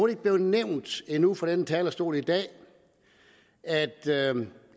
ikke blevet nævnt endnu fra denne talerstol i dag at